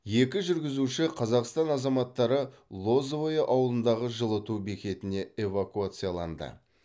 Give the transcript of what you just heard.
екі жүргізуші қазақстан азаматтары лозовое ауылындағы жылыту бекетіне эвакуацияланды